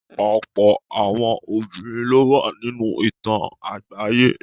Ọ̀pọ̀ àwọn obìnrin lówà nínú ìtàn àgbáyé.